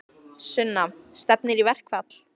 Sunna: Stefnir í verkfall?